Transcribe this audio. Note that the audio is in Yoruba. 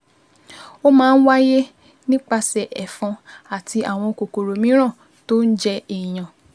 Ó máa ń wáyé nípasẹ̀ ẹ̀fọn àti àwọn kòkòrò mìíràn tó jẹ èèyàn